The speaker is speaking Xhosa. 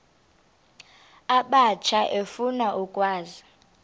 abatsha efuna ukwazi